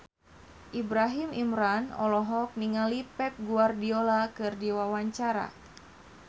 Ibrahim Imran olohok ningali Pep Guardiola keur diwawancara